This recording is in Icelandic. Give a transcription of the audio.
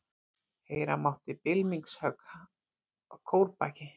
Heyra mátti bylmingshögg að kórbaki.